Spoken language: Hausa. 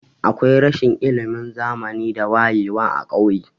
Akwai rashin ilimin zamani da wayewa a kauye.